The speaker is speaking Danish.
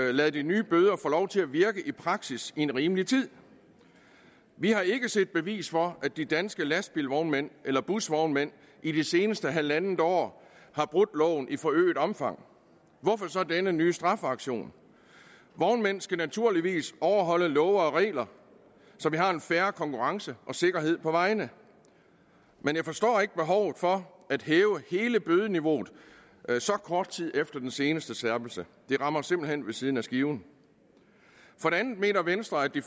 lade de nye bøder få lov til at virke i praksis i en rimelig tid vi har ikke set bevis for at de danske lastbilvognmænd eller busvognmænd i det seneste halvandet år har brudt loven i forøget omfang og hvorfor så denne nye straffeaktion vognmænd skal naturligvis overholde love og regler så vi har en fair konkurrence og sikkerhed på vejene men jeg forstår ikke behovet for at hæve hele bødeniveauet så kort tid efter den seneste skærpelse det rammer simpelt hen ved siden af skiven for det andet mener venstre at de